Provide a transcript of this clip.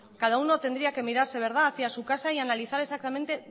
cada uno tendría que mirarse hacia su casa y analizar exactamente